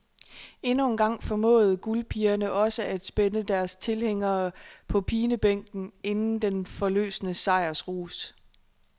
Endnu engang formåede guldpigerne også at spænde deres tilhængere på pinebænken inden den forløsende sejrsrus.